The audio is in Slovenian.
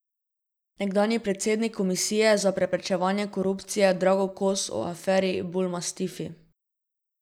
Nekdanji predsednik komisije za preprečevanje korupcije Drago Kos o aferi Bulmastifi.